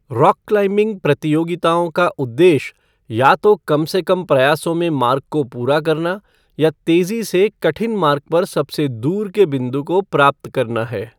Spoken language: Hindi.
रॉक क्लाइम्बिंग प्रतियोगिताओं का उद्देश्य या तो कम से कम प्रयासों में मार्ग को पूरा करना या तेजी से कठिन मार्ग पर सबसे दूर के बिंदु को प्राप्त करना है।